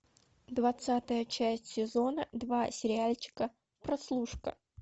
двадцатая часть сезона два сериальчика прослушка